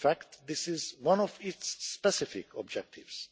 In fact, this is one of its specific objectives.